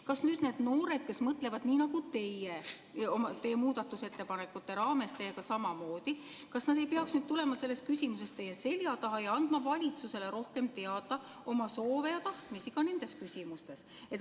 Kas nüüd need noored, kes mõtlevad nii nagu teie – teie muudatusettepanekute raames teiega samamoodi –, ei peaks tulema selles küsimuses teie selja taha ja andma valitsusele rohkem teada oma soove ja tahtmisi ka nendes küsimustes?